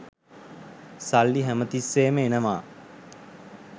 සල්ලි හැම තිස්සේම එනවා.